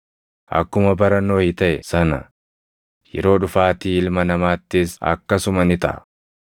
Akkuma bara Nohi taʼe sana yeroo dhufaatii Ilma Namaattis akkasuma ni taʼa.